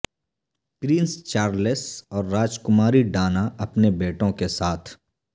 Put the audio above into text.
prince Charles اور راجکماری Diana اپنے بیٹوں کے ساتھ